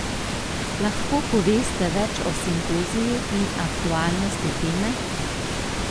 Lahko poveste več o simpoziju in aktualnosti teme?